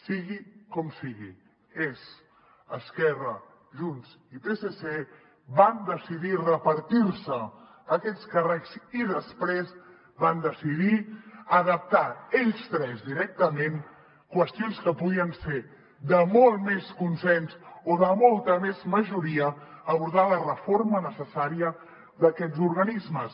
sigui com sigui és esquerra junts i psc van decidir repartir se aquests càrrecs i després van decidir adaptar ells tres directament qüestions que podien ser de molt més consens o de molta més majoria abordar la reforma necessària d’aquests organismes